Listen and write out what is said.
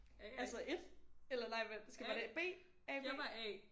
Altså 1 eller nej vent skal man B A B